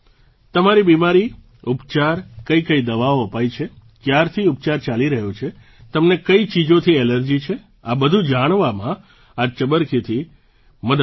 તમારી બીમારી ઉપચાર કઈકઈ દવાઓ અપાઈ છે ક્યારથી ઉપચાર ચાલી રહ્યો છે તમને કઈ ચીજોથી એલર્જી છે આ બધું જાણવામાં આ ચબરખીથી મદદ મળશે